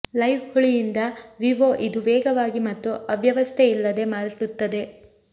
live ಹುಳಿಯಿಂದ ವಿವೊ ಇದು ವೇಗವಾಗಿ ಮತ್ತು ಅವ್ಯವಸ್ಥೆ ಇಲ್ಲದೆ ಮಾಡುತ್ತದೆ